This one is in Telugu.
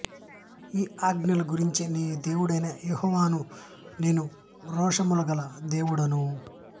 ఈ ఆజ్ఞల గురించి నీ దేవుడనైన యెహోవాయను నేను రోషముగల దేవుడను